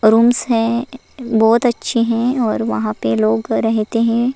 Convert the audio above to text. Rooms है बहुत अच्छे हैं और वहां पे अ लोग रहते हैं।